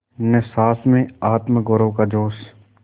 न सास में आत्मगौरव का जोश